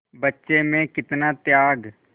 बच्चे में कितना त्याग